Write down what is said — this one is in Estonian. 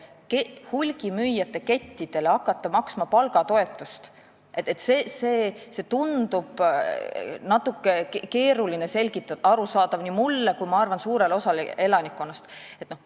Kui hulgimüüjate kettidele hakata maksma palgatoetust, siis tundub natuke keeruline seda selgitada nii, et see oleks arusaadav nii mulle kui ka suurele osale elanikkonnast.